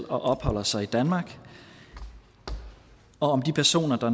og opholder sig i danmark og om de personer der